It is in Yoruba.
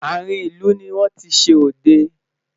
àrin ìlú ní wọn tí ṣé odẹ